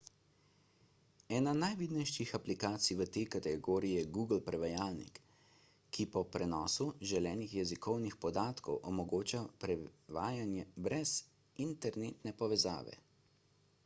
ena najvidnejših aplikacij v tej kategoriji je google prevajalnik ki po prenosu želenih jezikovnih podatkov omogoča prevajanje brez internetne povezave